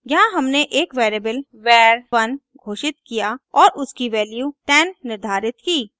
यहाँ हमने एक वेरिएबल var1 घोषित किया और उसकी वैल्यू 10 निर्धारित की